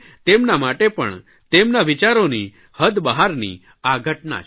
તેમના માટે પણ તેમના વિચારોની હદ બહારની આ ઘટના છે